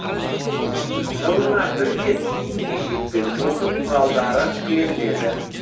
жылына бір рет киім кешек пен оқу құралдары беріледі